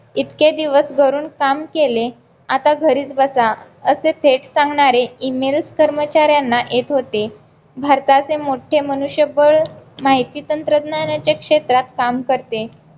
इतके दिवस घरून काम केले आता घरीच बसा असे थेट सांगणारे email कर्मचाऱ्यांना येत होते भारताचे मोठे मनुष्यबळ माहिती तंत्रज्ञानाच्या क्षेत्रात काम करते